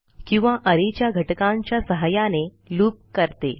किंवा अरे च्या घटकांच्या सहाय्याने लूप करते